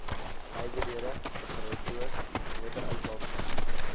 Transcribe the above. nywerhede sigaretrook motoruitlaatgasse